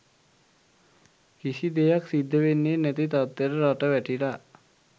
කිසි දෙයක් සිද්ද වෙන්නෙ නැති තත්වෙට රට වැටිලා